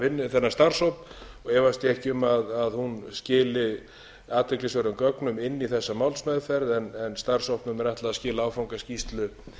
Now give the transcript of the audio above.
þennan starfshóp efast ég ekki um að hún skili athyglisverðum gögnum inn í þessa málsmeðferð en starfshópnum er ætlað að skila áfangaskýrslu